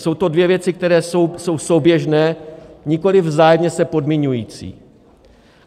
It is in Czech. Jsou to dvě věci, které jsou souběžné, nikoliv vzájemně se podmiňující.